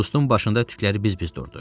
Qustun başında tükləri biz-biz durdu.